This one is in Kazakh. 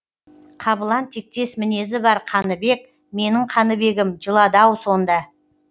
қабылан тектес мінезі бар қаныбек менің қаныбегім жылады ау сонда